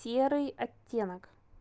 серый оттенок